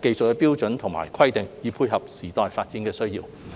技術標準和規格，以配合時代發展的需要。